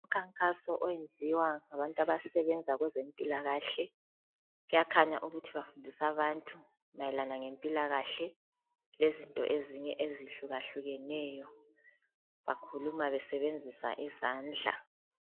Umkhankaso owenziwa ngabantu abasebenza kwezempilakahle kuyakhanya ukuthi bafundisa abantu mayelana lempilakahle lezinye izinto ezihluka hlukeneyo bakhuluma besebenzisa izandla.